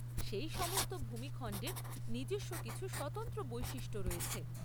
সেই সমস্ত ভূমি খণ্ডের নিজস্ব কিছু স্বতন্ত্র বৈশিষ্ট্য রয়েছে।